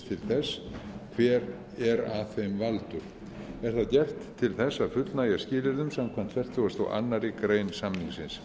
þess hver er að þeim valdur er það gert til þess að fullnægja skilyrðum samkvæmt fertugustu og aðra grein samningsins